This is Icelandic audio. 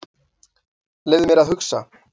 Leyfðu mér að hugsa.